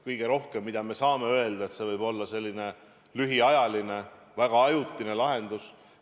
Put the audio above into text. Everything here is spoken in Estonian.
Kõige rohkem saab öelda, et see võib olla lühiajaline, väga ajutine lahendus.